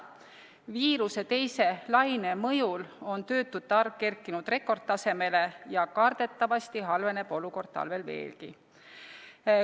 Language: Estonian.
Viiruse teise laine mõjul on töötute arv kerkinud rekordtasemele ja kardetavasti halveneb olukord talvel veelgi.